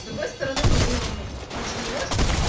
другой стороны но блин он же не может